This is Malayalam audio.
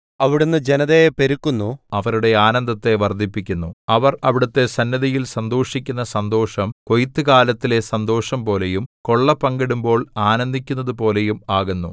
അവിടുന്ന് ജനതയെ പെരുക്കുന്നു അവരുടെ ആനന്ദത്തെ വർദ്ധിപ്പിക്കുന്നു അവർ അവിടുത്തെ സന്നിധിയിൽ സന്തോഷിക്കുന്ന സന്തോഷം കൊയ്ത്തുകാലത്തിലെ സന്തോഷംപോലെയും കൊള്ളപങ്കിടുമ്പോൾ ആനന്ദിക്കുന്നതു പോലെയും ആകുന്നു